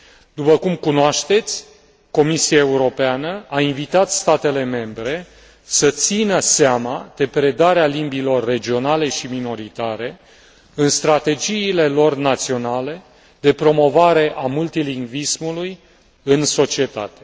După cum cunoașteți, Comisia Europeană a invitat statele membre să țină seama de predarea limbilor regionale și minoritare în strategiile lor naționale de promovare a multilingvismului în societate.